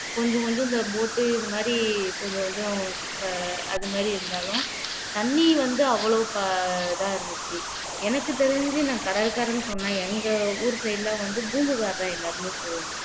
கொஞ்சம் கொஞ்சம் இந்த boat இது மாதிரி கொஞ்சம் கொஞ்சம் அது மாதிரி இருந்தாலும் தண்ணி வந்து அவ்வளவு ப இதா இருந்துச்சு எனக்கு தெரிஞ்சு நான் கடல்கரைன்னு சொன்ன எங்க ஊர் side எல்லாம் வந்து பூம்புகார்தான் எல்லாருமே போவோம்